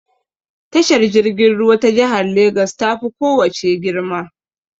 Tashar jirgin ruwa ta jihar Legas ta fi ko wace girma.